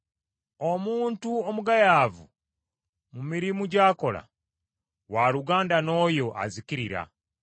Omuntu omugayaavu mu mirimu gy’akola, waluganda n’oyo azikiriza.